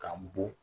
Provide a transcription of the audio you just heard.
K'an bɔ